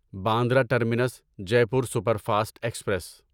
Bandra terminus Jaipur super fast express